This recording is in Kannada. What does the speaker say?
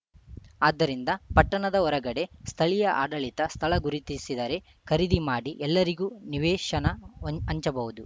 ಆದ್ದರಿಂದ ಪಟ್ಟಣದ ಹೊರಗಡೆ ಸ್ಥಳೀಯ ಆಡಳಿತ ಸ್ಥಳ ಗುರುತಿಸಿದರೆ ಖರೀದಿ ಮಾಡಿ ಎಲ್ಲರಿಗೂ ನಿವೇಶನ ಹಂಚಬಹುದು